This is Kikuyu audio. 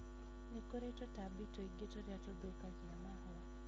Nĩkũrĩ tũtambi tũingi tũrĩa tũthũkagia mahũa